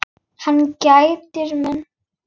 Hann gætir mín.